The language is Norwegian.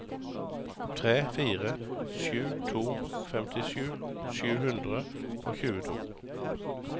tre fire sju to femtisju sju hundre og tjueto